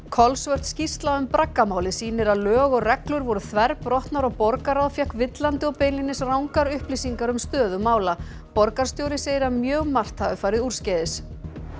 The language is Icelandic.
kolsvört skýrsla um braggamálið sýnir að lög og reglur voru þverbrotnar og borgarráð fékk villandi og beinlínis rangar upplýsingar um stöðu mála borgarstjóri segir að mjög margt hafi farið úrskeiðis